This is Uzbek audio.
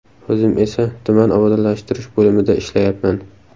O‘zim esa tuman obodonlashtirish bo‘limida ishlayapman.